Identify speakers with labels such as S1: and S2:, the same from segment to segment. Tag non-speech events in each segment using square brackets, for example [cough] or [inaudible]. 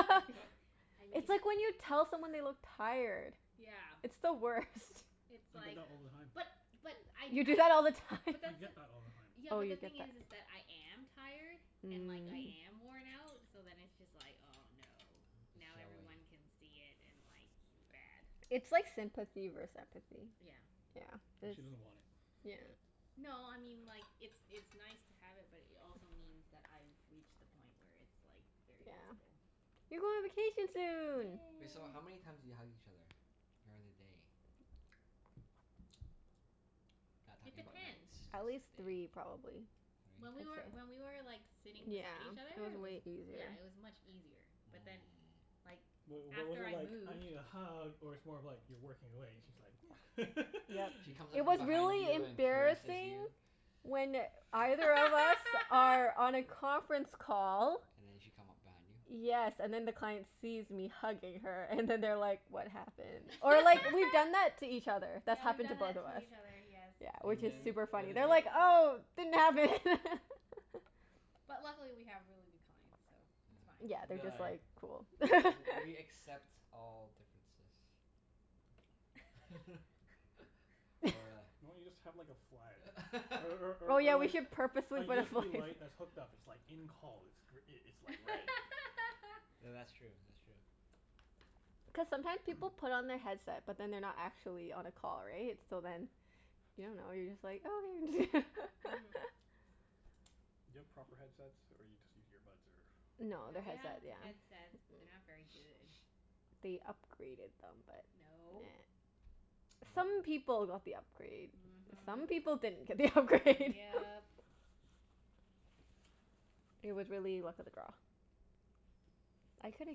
S1: I fee-
S2: [laughs]
S1: I
S2: It's
S1: need
S2: like when you tell someone they look tired.
S1: Yeah.
S2: It's
S3: [noise]
S2: the worst.
S4: [noise]
S1: It's
S4: I get
S1: like
S4: that all the time.
S1: But but I
S2: You do
S1: usually
S2: that all the time?
S1: but
S4: I
S1: that's the
S4: get that all the time.
S1: Yeah,
S2: Oh,
S1: but
S2: you
S1: the
S2: get
S1: thing is is
S2: that.
S1: that I am tired. And like, I
S2: Mm.
S1: am worn out. So then it's just like, oh no.
S3: [noise] It's
S1: Now
S3: showing.
S1: everyone can see it, and like it's bad.
S2: It's like sympathy
S4: [noise]
S2: vers- empathy.
S1: Yeah.
S2: Yeah,
S4: And
S2: this
S4: she doesn't want it.
S2: Yeah.
S1: No, I mean like It's it's nice to have it, but it also means that I've reached the point where it's like, very
S2: Yeah.
S1: visible.
S3: [noise]
S2: You go on vacation soon!
S3: Wait, so
S1: Yay.
S3: how many times do you hug each other? During the day. [noise]
S2: [noise]
S4: [noise]
S3: Not
S1: It
S3: talking about nights.
S1: depends.
S3: Just
S2: At
S3: day.
S2: least three,
S3: Three?
S2: probably. I'd
S1: When we were,
S2: say.
S1: when we were like, sitting
S2: Yeah.
S1: beside each other,
S2: It was
S1: it was
S2: way
S1: yeah,
S2: easier.
S1: it was much easier. But then,
S3: Mm.
S1: like
S4: Wait, what was
S1: after
S4: it
S1: I
S4: like, "I
S1: moved
S4: need a hug?" Or it's more of like you're working away and she's like [noise]
S3: [noise]
S2: Yep.
S3: She
S4: [laughs]
S3: comes up
S2: It
S3: from
S2: was
S3: behind
S2: really
S3: you and caresses
S2: embarrassing
S3: you.
S2: when either of us are
S1: [laughs]
S2: on a conference call
S3: And then she'd come up behind you?
S2: Yes, and then the client sees me hugging her, and then they're like "What happened?" Or like, we've
S3: [laughs]
S2: done
S1: [laughs]
S2: that to each other. That's
S1: Yeah, we've
S2: happened to
S1: done
S2: both
S1: that
S2: of
S1: to
S2: us.
S1: each other. Yes.
S2: Yeah, which
S3: And
S2: is
S3: then
S2: super
S3: what
S2: funny.
S3: did
S2: They're
S3: you
S2: like,
S1: [inaudible]
S2: "Oh, didn't happen!" [laughs]
S1: But luckily we have really good clients, so it's
S2: [noise] Yeah,
S3: Yeah,
S1: fine.
S2: they're
S3: they're
S2: just like,
S3: like,
S2: "Cool."
S3: "W- we
S2: [laughs]
S3: accept all differences." [laughs] Or
S2: [laughs]
S1: [laughs]
S4: Why don't you just
S3: a
S4: have like a flag? Or or
S2: Oh,
S4: or
S2: yeah,
S4: or
S2: we
S4: like
S2: should
S4: A
S2: purposefully put a fla-
S4: USB light that's hooked up. It's like, "In call." It's
S3: [laughs]
S4: gr- i- it's like red.
S1: [laughs]
S3: Th- that's true, that's true.
S2: Cuz sometime people
S4: [noise]
S2: put on their headset but then they're not actually on a call, right? So then you don't know, you're just like, "Oh, there it is."
S1: Mhm.
S2: [laughs]
S4: Do you have proper headsets, or you just use earbuds, or
S2: No,
S1: No,
S2: they're
S1: we have
S2: headset, yeah.
S1: headsets but they're not
S2: [noise]
S1: very good.
S2: They upgraded them but, nah.
S1: No.
S3: [noise] No?
S2: Some people got the upgrade. Some
S1: Mhm.
S2: people didn't get the upgrade.
S1: Yep.
S2: [laughs] It was really luck of the draw. I coulda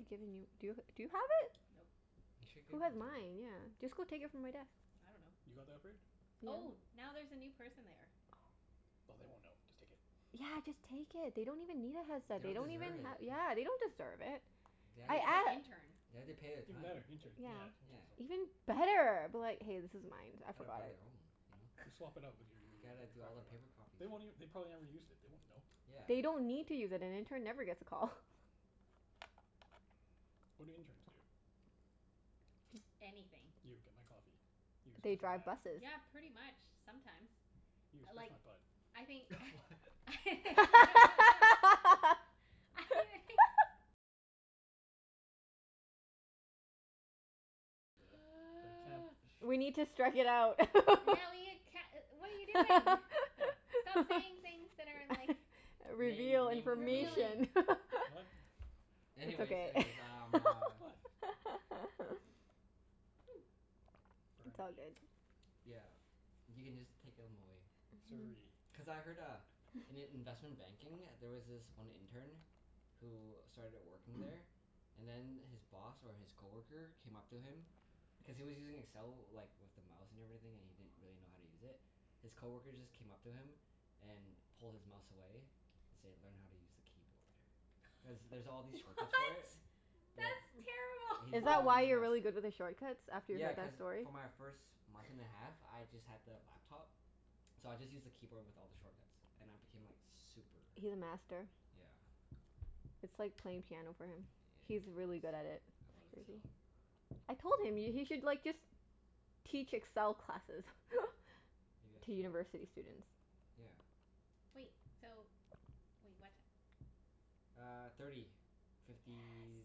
S2: given you, do y- do you have it?
S1: Nope.
S3: You should've
S2: Who
S3: given
S2: had
S3: it to her.
S2: mine? Yeah. Just go take it from my desk.
S1: I dunno.
S4: You got the upgrade?
S1: Oh,
S2: Yeah.
S1: now there's a new person there.
S2: Oh.
S4: Oh, they won't know. Just take it.
S2: Yeah, just take it. They don't even need a headset. They
S3: Don't
S2: don't even
S3: deserve
S2: have
S3: it. [noise]
S2: Yeah, they don't deserve it.
S3: They
S1: I
S3: have
S2: I
S3: to
S1: think it's an
S2: a-
S3: pa-
S1: intern.
S3: they have to pay their
S4: Even
S3: time.
S4: better. Intern.
S2: Yeah.
S4: Yeah,
S3: Yeah.
S4: interns
S2: Even
S4: don't
S2: better. Be like, "Hey, this is mine. I
S3: [noise] Gotta
S2: forgot
S3: buy
S2: it."
S3: their own, you know?
S4: Just swap it out
S1: [laughs]
S2: [laughs]
S4: with your
S3: You
S4: your your
S3: gotta
S4: your
S3: do all the
S4: crappy one.
S3: paper copies
S4: They
S3: for
S4: won't
S3: it.
S4: ev- they probably never used it. They won't know.
S3: Yeah.
S2: They don't need to use it. An intern never gets a call.
S4: What do interns do?
S2: [noise]
S1: Anything.
S4: You, get my coffee. You,
S2: They
S4: scratch my
S2: drive
S4: back.
S2: buses.
S1: Yeah, pretty much. Sometimes.
S4: You,
S1: I
S4: scratch
S1: like
S4: my butt.
S3: [noise]
S1: I think
S3: [laughs] What?
S1: [laughs]
S2: [laughs]
S1: I [laughs]
S4: The the camp
S1: [noise]
S2: We need to strike it out. [laughs]
S1: Yeah we can't e- what are you doing?
S4: What?
S1: Stop
S2: [laughs]
S1: saying things that are like
S2: [laughs]
S3: Name
S2: Reveal
S3: naming
S1: revealing.
S2: information.
S3: [inaudible]
S2: [laughs]
S4: What?
S2: It's
S3: Anyways,
S2: okay.
S3: anyways, um
S2: [laughs]
S3: uh
S4: What?
S1: [noise]
S2: [noise] It's all
S4: Burnaby.
S2: good.
S3: [noise] Yeah. You can just take 'em away.
S2: Mhm.
S4: Surrey.
S3: Cuz I heard uh, in i- investment banking there was this one intern who started
S2: [laughs]
S3: working there
S4: [noise]
S3: and then his boss or his coworker came up to him
S2: [noise]
S3: cuz he was using Excel like, with the mouse and everything, and he didn't really know how to use it. His coworker just came up to him and pulled his mouse away and said, "Learn how to use the keyboard." Cuz there's all
S1: [laughs]
S3: these shortcuts for it.
S1: What?
S3: Yeah.
S1: That's
S3: He did
S2: Is
S3: it
S2: that
S3: all
S1: terrible.
S3: with
S2: why
S3: a
S2: you're
S3: mouse.
S2: really good with the shortcuts? After you
S3: Yeah,
S2: heard
S3: cuz
S2: that story?
S3: for my first month and a
S1: [laughs]
S3: half,
S2: [laughs]
S3: I just had the laptop. So I just used the keyboard with all the shortcuts. And I
S2: [noise]
S3: became like super
S2: He's a master.
S3: Yeah.
S2: It's like playing piano for him.
S3: Yeah, it
S2: He's really good at
S3: is.
S2: it.
S3: I
S1: I
S2: It's
S3: love
S1: see.
S2: crazy.
S3: Excel.
S2: I told him, y- he should like just teach Excel classes. [laughs]
S3: Maybe I
S2: To
S3: should.
S2: university students.
S3: Yeah.
S1: Wait, so Wait, what ti-
S2: [noise]
S3: Uh, thirty fifty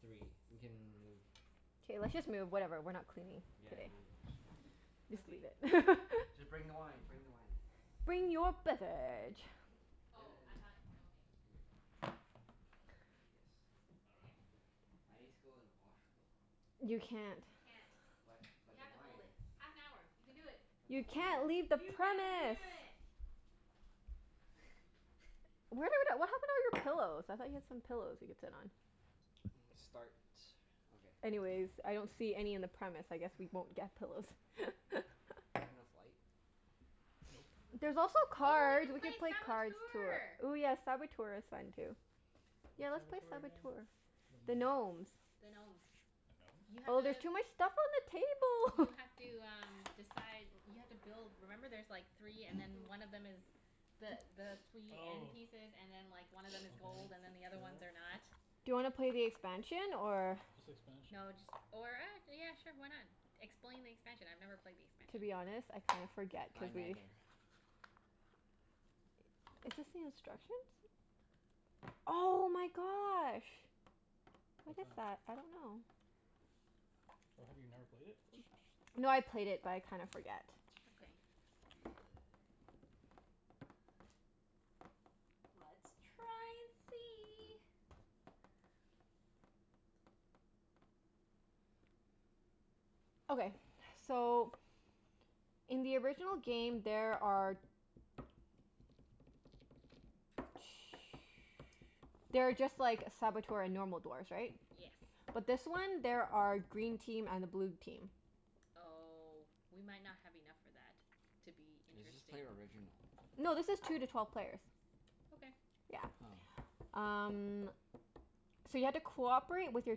S3: three. We can move.
S2: K, let's just move. Whatever, we're not cleaning
S3: Yeah,
S2: today.
S3: leave this sh-
S2: Just leave
S1: Okay.
S2: it. [laughs]
S3: Just bring the wine.
S4: Mhm.
S3: Bring the wine.
S2: Bring your
S4: Bring the lemon
S2: beverage.
S4: tea.
S3: And
S1: Oh,
S3: and
S1: I
S3: then
S1: thought, okay.
S3: Here you go.
S4: And paper towels.
S3: Yes.
S4: I
S2: Okay.
S1: Okay.
S4: dunno.
S3: I need to go to the washroom though.
S2: You can't.
S1: You can't.
S3: But
S1: You
S3: but the
S1: have to hold
S3: wine.
S1: it. Half an hour. You can do it.
S3: But the
S2: You can't
S3: wine.
S2: leave the
S1: You can do
S2: premise.
S1: it.
S2: Where the w- d-
S1: [laughs]
S2: what happened to all your pillows? I thought you had some
S3: [noise]
S2: pillows we could sit on?
S3: Mm, start. Okay.
S2: Anyways, I don't see any in the premise. I guess we
S3: [noise]
S2: won't get pillows. [laughs]
S3: There enough light?
S4: Nope.
S3: [noise]
S2: There's also
S1: Oh, we
S2: cards.
S1: can
S2: We
S1: play
S2: could play cards, tour
S1: Saboteur!
S2: Ooh yeah, Saboteur is fun too. Yeah,
S4: What's
S2: let's play
S4: Saboteur again?
S2: Saboteur.
S4: Don't
S2: The
S4: remember it.
S2: gnomes.
S1: The gnomes.
S4: The
S1: You
S4: gnomes?
S1: have
S2: Oh, there's
S1: to
S2: too much stuff on the
S1: You
S2: table. [laughs]
S1: have to um, decide You have to build, remember there's like three and
S4: [noise]
S1: then one of them is the the
S3: [noise]
S1: three end
S4: Oh.
S1: pieces and then like, one of them
S4: Okay.
S1: is gold
S3: [noise]
S1: and
S2: [noise]
S1: then the other ones
S4: Sure.
S1: are not.
S2: Do you wanna play the expansion, or
S4: What's the expansion?
S1: No, just or ac- yeah sure, why not? Explain the expansion. I've never played the
S2: To
S1: expansion.
S2: be honest, I kinda forget
S3: I
S2: cuz we
S3: neither.
S2: Is this the instructions? Oh my gosh. What
S4: What's
S2: is that?
S4: that?
S2: I don't know.
S4: Oh, have you never played it?
S2: No, I played it but I kinda forget.
S1: Okay. Let's try and see.
S2: Okay. So in the original game there are [noise] there are just like Saboteur and normal dwarfs, right?
S1: Yes.
S2: But this one there are green team and a blue team.
S1: Oh, we might not have enough for that. To be
S2: [noise]
S3: Let's just
S1: interesting.
S3: play original.
S2: No, this is two to twelve players.
S1: Okay.
S2: Yeah.
S3: Oh.
S2: Um So you have to cooperate with your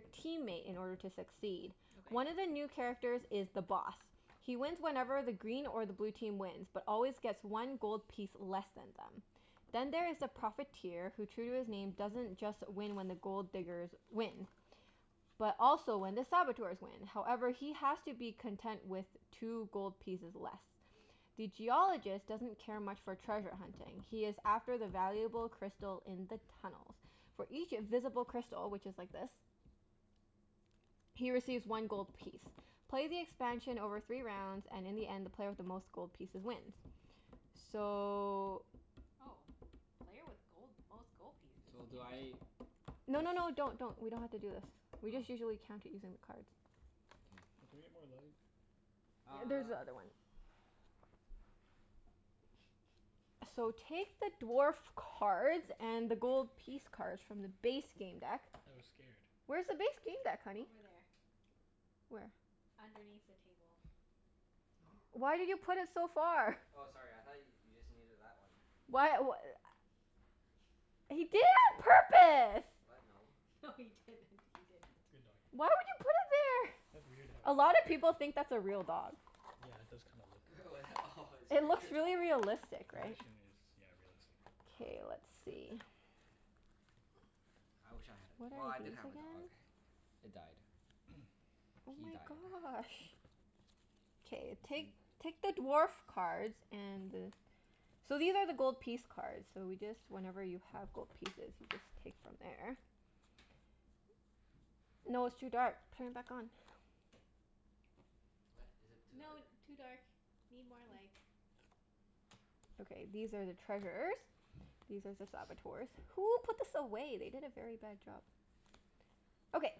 S2: teammate in order to succeed.
S1: Okay.
S2: One of the new characters is The Boss. He wins whenever the green or the blue team wins but always gets one gold piece less than them. Then there is The Profiteer who, true to his name, doesn't just win when the Gold Diggers win. But also when the Saboteurs win. However, he has to be content with two gold pieces less. The Geologist doesn't care much for treasure hunting. He is after the valuable crystal in the tunnels. For each visible crystal, which is like this. He receives one gold piece. Play the expansion over three rounds, and in the end the player with the most gold pieces wins. So
S1: Oh. Player with gold, most gold pieces?
S3: So do I
S1: Interesting.
S2: No
S3: push
S2: no no, don't don't. We don't have to do this. We just
S3: Oh.
S2: usually count it using the cards.
S3: Okay.
S4: Oh, can we get more light?
S2: There's
S3: Uh
S2: the
S3: [noise]
S2: other one. So, take the dwarf cards and the gold piece cards from the
S1: [laughs]
S2: base game deck.
S4: I was scared.
S2: Where's the base game deck, honey?
S1: Over there.
S2: Where?
S1: Underneath the table.
S3: Oh,
S1: [noise]
S2: Why
S3: crap.
S2: did you put it so far?
S3: Oh, sorry. I thought y- you just needed that one.
S2: Why w- a- He did it on purpose!
S3: What? No.
S1: No, he didn't. He didn't.
S4: Good doggie.
S2: Why would you put it there?
S4: That's weird to have a
S2: A
S4: dog
S2: lot of
S4: there.
S2: people think that's a real dog.
S4: Yeah, it does kinda look
S3: [laughs] Oh, that? Oh, it
S2: It
S3: scared
S2: looks
S3: you.
S2: really realistic, right?
S4: Position is, yeah, realistic.
S2: K, let's see.
S3: [noise] I wish I had a,
S2: What
S3: well,
S2: are
S3: I
S2: these
S3: did have a dog.
S2: again?
S3: It died.
S4: [noise]
S2: Oh
S3: He
S2: my
S3: died.
S2: gosh. K,
S3: I see.
S2: take take the dwarf cards and the So these are the gold piece cards, so we just, whenever you have gold pieces you just take from there. No, it's too dark. Turn it back on.
S3: What? Is it too dark?
S1: No,
S4: [noise]
S1: too dark. Need more light.
S2: Okay, these are the treasures. These are ze
S3: [noise]
S2: Saboteurs. Who put this away? They did a very bad job. Okay.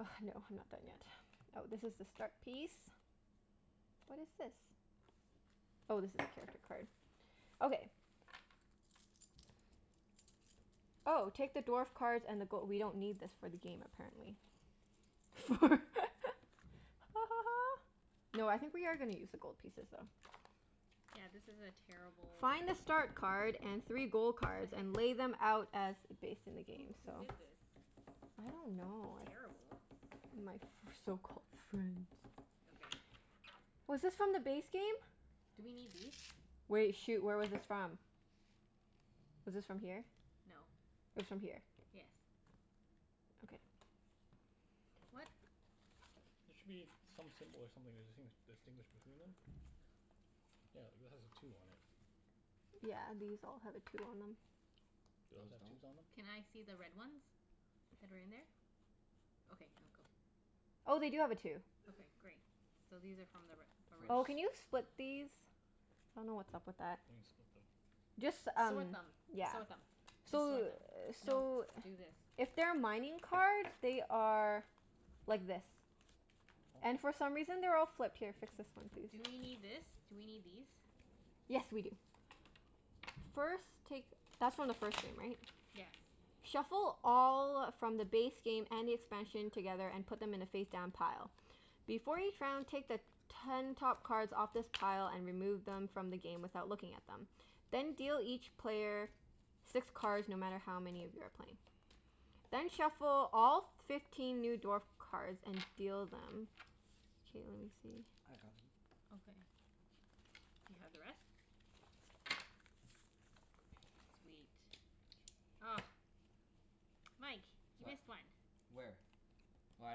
S2: Oh, no, I'm not done yet. Oh, this is the start piece. What is this? Oh, this is character card. Okay. Oh, take the dwarf cards and the go- we don't need this for the game, apparently. For [laughs] Ha ha ha. No, I think we are gonna use the gold pieces though.
S1: Yeah, this is a terrible
S2: Find a start card and three gold cards and
S1: [inaudible]
S2: lay them out as based in the game.
S1: Who
S2: So
S1: who did this?
S2: I don't know, I
S1: Terrible.
S2: My f- my so-called friends.
S1: Okay.
S2: Was this from the base game?
S1: Do we need these?
S2: Wait. Shoot, where was this from?
S4: [noise]
S2: Was this from here?
S1: No.
S2: It was from here.
S1: Yes.
S2: Okay.
S1: What?
S4: There should be some symbol or something to distinguish distinguish between them. Yeah, like that has a two on it.
S2: Yeah, these all have a two on them.
S4: Do those
S3: Those
S4: have
S3: don't?
S4: twos on them?
S1: Can I see the red ones? That are in there? Okay. No, go.
S2: Oh, they do have a two.
S1: Okay, great. So these are from the re-
S2: Oh,
S1: original.
S2: can you
S3: First.
S2: split these? I dunno what's up with that.
S4: What do you mean, split them?
S2: Just
S1: S-
S2: um,
S1: sort them.
S2: yeah.
S1: Sort
S4: Oh.
S1: them. Just
S2: So
S1: sort them.
S2: [noise]
S1: No,
S2: so
S1: do this.
S2: If they're mining cards, they are like this. And
S4: Oh.
S2: for some reason they're all flipped. Here, fix this one too.
S1: Do we need this? Do we need these?
S2: Yes, we do. First, take That's from the first game, right?
S1: Yes.
S2: Shuffle all from the base game and the expansion together, and put them in a face-down pile. Before each round, take the ten top cards off this pile and remove them from the game without looking at them. Then deal each player six cards, no matter how many of you are playing. Then shuffle all f- fifteen new dwarf cards and deal them. K, let me see.
S3: I got them.
S1: Okay. Do you have the rest? Sweet. Ah. Mike. You
S3: What?
S1: missed one.
S3: Where? Oh, I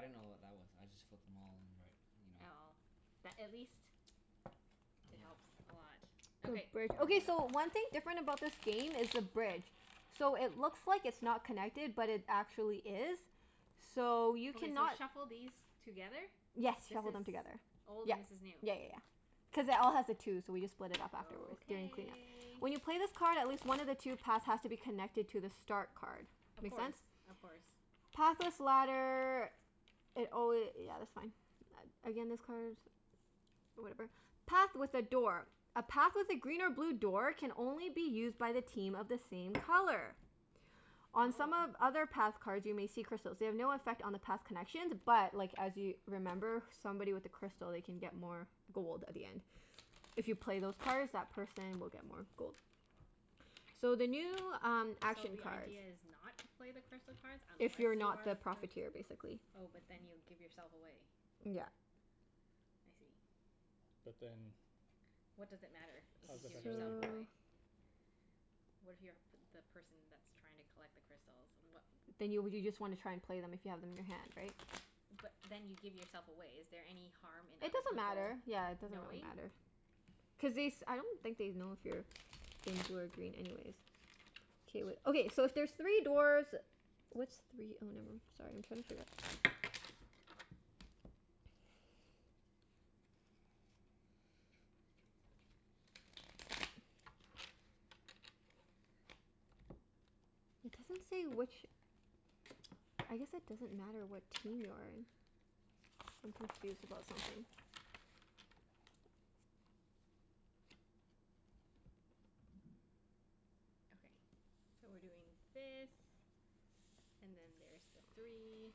S3: didn't know what that was. I just flipped them all in the right, you know?
S1: Oh. That at least
S3: [noise]
S1: it
S3: Yeah.
S1: helps a lot.
S2: Ooh,
S3: Yeah,
S1: Okay.
S2: bridge.
S3: don't worry
S2: Okay, so
S3: about it.
S2: one thing different about this game is the bridge. So, it looks like it's not connected but it actually is. So, you
S1: Okay, so
S2: cannot
S1: shuffle these together?
S2: Yes,
S1: This
S2: shuffle them
S1: is
S2: together.
S1: old
S2: Yep.
S1: and this is
S2: Yeah
S1: new.
S2: yeah yeah. Cuz it all has a two, so we just split it up afterward during clean-up.
S1: Okay.
S2: When you play this card at least one of the two paths has to be connected to the start card.
S1: Of
S2: Make
S1: course.
S2: sense?
S1: Of course.
S2: Pathless ladder It alwa- yeah, that's fine. A- again, this card Whatever. Path with a door. A path with a green or blue door can only be used by the team of the same color. On some of
S1: Oh.
S2: other path cards you may see crystals. They have no affect on the path connections but like, as you remember somebody with a crystal, they can get more gold at the end. If you play those cards that person will get more gold. So, the new um
S1: So
S2: action
S1: the
S2: cards.
S1: idea is not to play the crystal cards unless
S2: If
S1: you
S2: you're not
S1: are
S2: the
S1: the pr-
S2: Profiteer, basically.
S1: Oh, but then you give yourself away.
S2: Yeah.
S1: I see.
S4: But then how
S1: What does it matter if you
S4: does it
S1: give
S4: affect other
S1: yourself
S4: people?
S2: So
S1: away? What if you're a p- the person that's trying to collect the crystals?
S4: [noise]
S1: What
S2: Then you w- you just wanna try and play them if you have them in your hand, right?
S1: But then you give yourself away. Is there any harm in
S2: It
S1: other
S2: doesn't
S1: people
S2: matter. Yeah, it doesn't really
S1: knowing?
S2: matter.
S4: [noise]
S2: Cuz they s- I don't think they'd know if you're being blue or green anyways. K, wait. Okay, so if there's three dwarfs What's three oh, nevermi- Sorry, I'm trying to figure out
S4: [noise] Jaw jaw jaw.
S2: It doesn't say which I guess it doesn't matter what team you're in. I'm confused about something.
S1: Okay. So, we're doing this and then there's the three.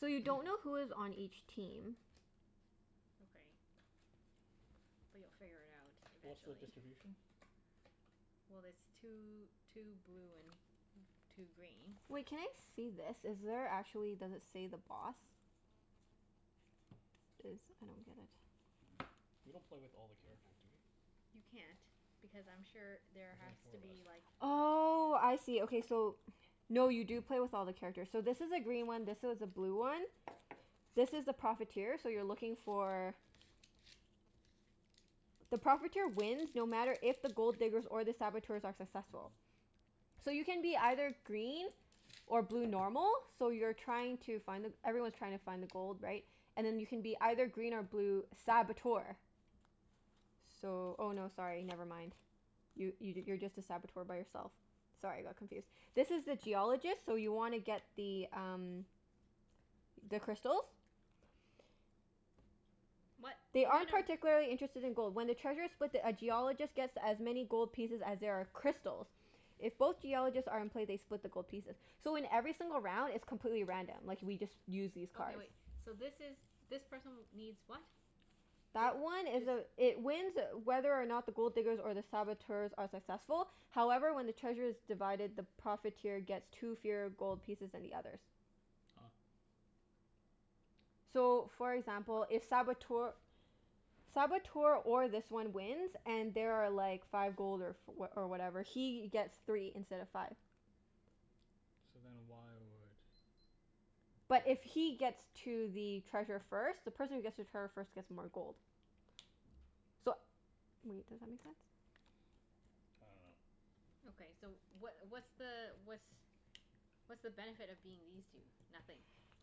S2: So, you don't know who is on each team.
S1: Okay. But you'll figure it out
S4: What's the
S1: eventually.
S4: distribution?
S1: Well it's two two blue and two green.
S2: Wait, can I see this? Is there actually, does it say the Boss? This, I don't get it.
S4: We don't play with all the characters, do we?
S1: You can't. Because I'm sure there
S4: There's only
S1: has
S4: four
S1: to
S4: of us.
S1: be like
S2: Oh, I see. Okay, so No, you do
S4: [noise]
S2: play with all the characters. So this is a green one, this is a blue one. This is the Profiteer, so you're looking for The Profiteer wins no matter if the Gold Diggers or the Saboteurs are
S3: [inaudible]
S2: successful. So you can be either green or blue normal. So you're trying to find the, everyone's trying to find the gold, right? And then you can be either green or blue Saboteur. So, oh no, sorry, never mind. You y- you're just a Saboteur by yourself. Sorry, I got confused. This is the Geologist, so you wanna get the um the crystals.
S1: What?
S3: [noise]
S2: They
S1: They are
S2: aren't
S1: no
S2: particularly interested in gold. When the treasure's split, the a Geologist gets as many gold pieces as there are crystals. If both Geologists are in play, they split the gold pieces.
S3: [noise]
S2: So, in every single round it's completely random. Like, we just use these cards.
S1: Okay, wait. So this is, this person needs what?
S2: That one
S1: It,
S2: is a
S1: this
S2: It wins whether or not the Gold Diggers or the Saboteurs are successful. However, when the treasure's divided, the Profiteer gets two fewer gold pieces than the others.
S4: Ah.
S3: [noise]
S2: So, for example, if Saboteur Saboteur or this one wins and there are like five gold or f- oh or whatever he gets three instead of five.
S4: So, then why would oh, I
S2: But
S4: don't know.
S2: if he gets to the treasure first The person who gets to trevor first gets more gold. So wait, does that make sense?
S4: I dunno.
S1: Okay, so what what's the what's what's the benefit of being these two? Nothing?
S3: [noise]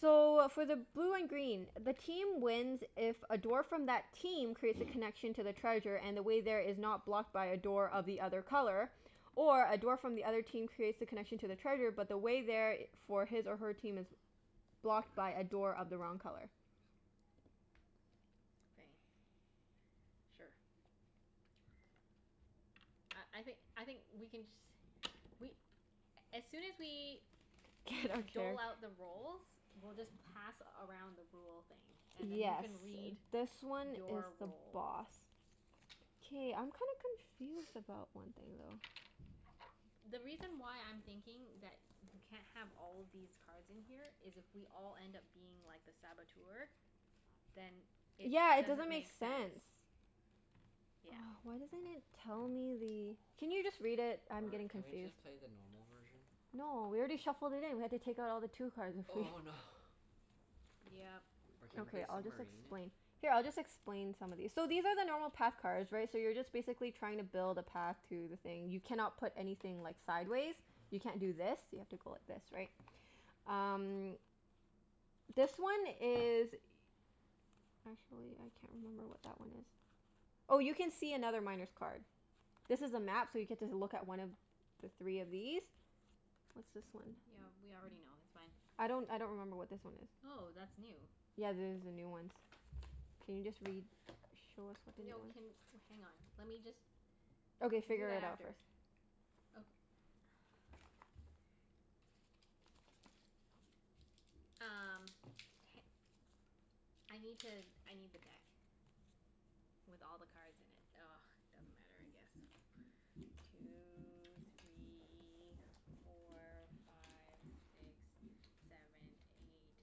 S2: So, for the blue and green the team wins if a dwarf from that team creates a
S4: [noise]
S2: connection to the treasure and the way there is not blocked by a door of the other color. Or a dwarf from the other team creates the connection to the treasure but the way there i- for his or her team is blocked by a door of the wrong color.
S1: Okay. Sure. Uh, I think I think we can just we
S3: [noise]
S1: as soon as we dole out
S2: [inaudible]
S1: the roles we'll just pass around the rule thing. And then you
S2: Yes,
S1: can read
S2: this one is
S1: your
S2: the
S1: role.
S2: Boss. K, I'm kinda confused about one thing though.
S3: [noise]
S1: The reason why I'm thinking that you c- can't have all these cards in here is if we all end up being like, the Saboteur then it
S2: Yeah, it doesn't
S1: doesn't
S2: make
S1: make
S2: sense.
S1: sense. Yeah.
S2: Oh, why doesn't it tell me the Can you just read it? I'm
S3: Or
S2: getting
S3: can we
S2: confused.
S3: just play the normal version?
S2: No, we already shuffled it in. We have to take out all the two cards if we
S3: Oh no.
S1: Yep.
S3: Or can we
S2: Okay,
S3: play
S2: I'll just
S3: submarine?
S2: explain Here, I'll just explain some of these. So, these are the normal path cards right? So you're just basically trying to build a path to the thing. You cannot put anything like, sideways. You can't do this. You have to go like this, right?
S3: [noise]
S2: Um this one is Actually, I can't remember what that one is. Oh, you can see another Miner's card. This is a map so you get to z- look at one of the three of these. What's this one?
S1: Yeah, we already know. That's fine.
S2: I don't I don't remember what this one is.
S1: Oh, that's new.
S2: Yeah, there's the new ones. Can you just read Show us what the new
S1: No,
S2: ones
S1: can, hang on. Let me just
S2: Okay,
S1: We'll do
S2: figure
S1: that
S2: it out
S1: after.
S2: first.
S1: Oka-
S3: [noise]
S1: Um, h- I need to, I need the deck. With all the cards in it. [noise] Doesn't matter I guess. Two three four five six seven eight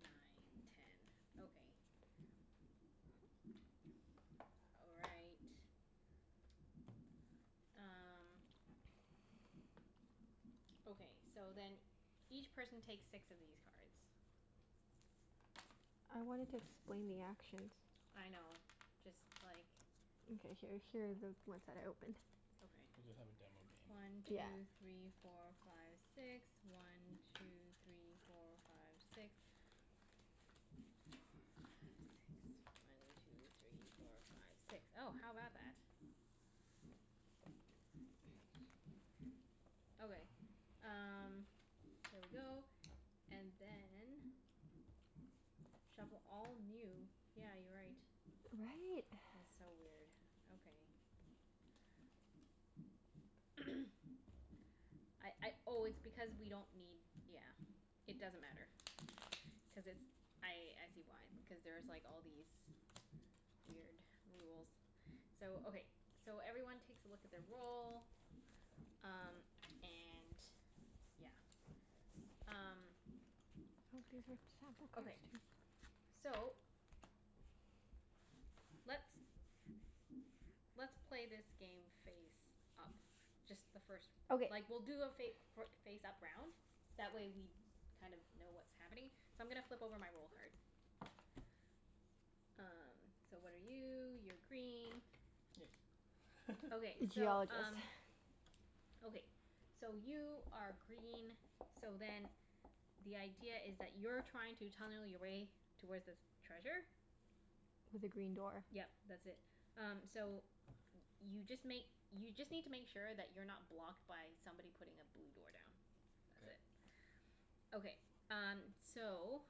S1: nine ten. Okay. All right. Um Okay, so then
S2: [noise]
S1: each person takes six of these cards.
S2: I wanted to explain the actions.
S1: I know. Just like
S2: Okay. Here here are the ones that I opened.
S1: Okay.
S4: We'll just have a demo
S3: [noise]
S4: game.
S1: One
S2: Yeah.
S1: two three four five six. One two three four five six. One two three four five six. One two three four five six. Oh, how about that?
S3: Nice.
S1: Okay,
S3: [noise]
S1: um there we go. And then shuffle all new, yeah, you're right.
S2: Right?
S1: It's
S2: [noise]
S1: so weird. Okay. [noise] I I oh, it's because we don't need, yeah. It doesn't matter. Cuz it's, I I see why. Because there's like, all
S3: [noise]
S1: these weird rules. So, okay. So, everyone takes a look at their role. Um, and yeah. Um
S2: Hope these are sample cards
S1: Okay.
S2: too.
S1: So let's
S3: [noise]
S1: let's play this game face up. Just the first
S2: Okay.
S1: Like we'll do a fa- for face up round. That way we kind of know what's happening. So, I'm gonna flip over my role card. Um, so what are you? You're green.
S4: Yay.
S1: Okay,
S4: [laughs]
S1: so
S2: Geologist.
S1: um Okay.
S3: [noise]
S1: So, you are green, so then the idea is that you're trying to tunnel your way towards this treasure.
S2: With a green door.
S1: Yep. That's it. Um, so y- you just make, you just need to make sure that you're not blocked by somebody putting a blue door down.
S3: [noise]
S1: That's
S3: K.
S1: it. Okay. Um, so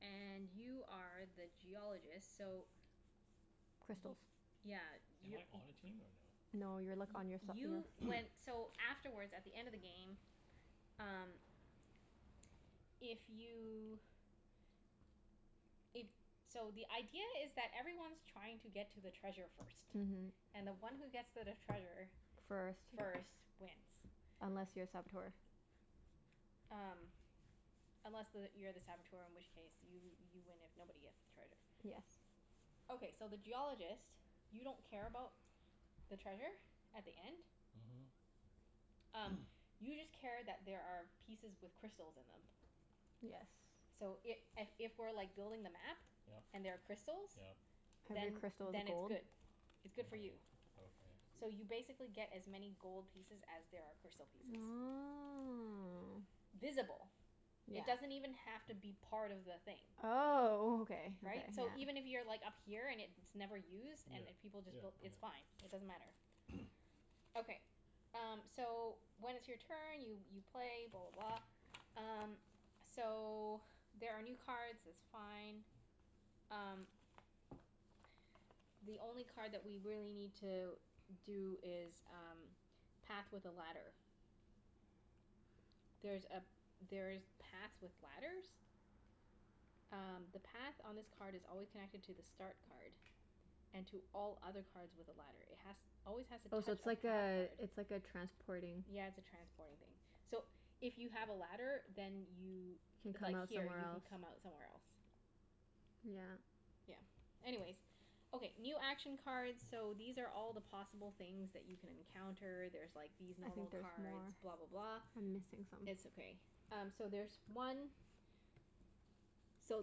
S1: and you are the Geologist, so Y-
S2: Crystals.
S1: yeah.
S4: Am I
S1: You're u-
S4: on a team, or no?
S2: No, you're like on your
S1: Y- you
S2: [inaudible]
S1: went,
S4: [noise]
S1: so afterwards, at the end of the game Um if you If,
S4: [noise]
S1: so the idea is that everyone's trying to get to the treasure first.
S2: Mhm.
S1: And the one who gets to the treasure
S2: First.
S1: first wins.
S2: Unless you're a Saboteur.
S3: [noise]
S1: Um Unless the, you're the Saboteur in which case you you win if nobody gets the treasure.
S2: Yes.
S1: Okay, so the Geologist you don't care about the treasure at the end.
S4: Mhm.
S1: Um,
S4: [noise]
S1: you just care that there are pieces with crystals in them.
S2: Yes.
S1: So i- a- if we're like building the map
S4: Yep.
S1: and there are crystals
S4: Yep.
S2: Every
S1: then
S4: Yep.
S2: crystal is
S1: then it's
S2: gold.
S1: good. It's
S4: Okay.
S1: good for you.
S4: Okay.
S1: So you basically get as many gold pieces as there are crystal pieces.
S2: Oh.
S1: Visible.
S2: Yeah.
S1: It doesn't even have to be part of the thing.
S2: Oh, okay okay,
S1: Right? So
S2: yeah.
S1: even if you're like up here and it's never used
S4: Yeah.
S1: and if people
S4: Yeah,
S1: just built,
S4: yeah.
S1: it's fine. It doesn't matter.
S4: [noise]
S1: Okay. Um, so when it's your turn, you you play, blah blah blah. Um, so there are new cards. It's fine. Um the only card that we really need to do is um path with a ladder. There's a, there's paths with ladders. Um, the path on this card is always connected to the start card. And to all other cards with a ladder. It has always has to
S2: Oh, so
S1: touch
S2: it's
S1: a path
S2: like a,
S1: card.
S2: it's like a transporting
S1: Yeah, it's a transporting thing. So, if you have a ladder then you
S2: Can
S1: if
S2: come
S1: like,
S2: out
S1: here,
S2: somewhere
S1: you can
S2: else.
S1: come out somewhere else.
S2: Yeah.
S1: Yeah.
S3: [noise]
S1: Anyways Okay, new action cards So, these are all the possible things that you can encounter. There's like these
S2: I think
S1: normal
S2: there's
S1: cards.
S2: more.
S1: Blah blah blah.
S2: I'm missing some.
S1: It's okay. Um, so there's one So,